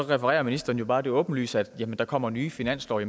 refererer ministeren jo bare til det åbenlyse at der kommer nye finanslove